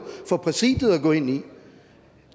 for præsidiet at gå ind i